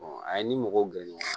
a ye ni mɔgɔw gɛrɛ ɲɔgɔn na